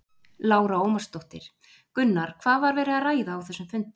Lára Ómarsdóttir: Gunnar, hvað var verið að ræða á þessum fundi?